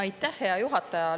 Aitäh, hea juhataja!